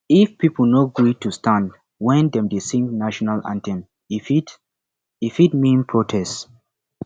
if pipo no gree to stand when dem dey sing national anthem e fit e fit mean protest